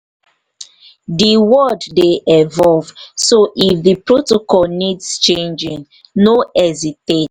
di world dey evolve so if di protocol needs changing no hesitate